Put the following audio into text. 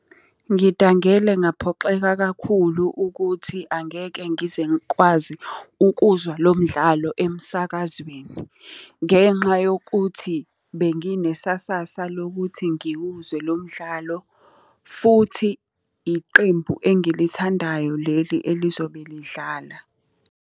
Ngidangele ngaphoxeka kakhulu ukuthi angeke ngize ngikwazi ukuzwa lo mdlalo emsakazweni. Ngenxa yokuthi benginesasasa lokuthi ngiwuzwe lo umdlalo, futhi iqembu engilithandayo leli elizobe lidlala.